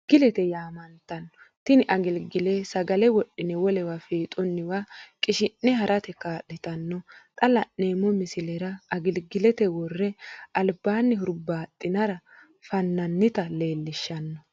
Agiligile yaamantanno, tini agiligile sagale wodhine wolewa fiixunniwa qishi'ne harate kaalitanno, xa la'neemo misilera agiligilete wore alibanni huribaxinara fananitta leelishano